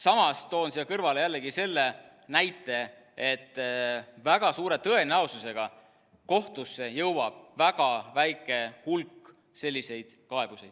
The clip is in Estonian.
Samas toon siia kõrvale jällegi selle näite, et väga suure tõenäosusega jõuab kohtusse väga väike hulk selliseid kaebusi.